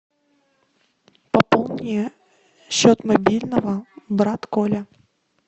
пополни счет мобильного брат коля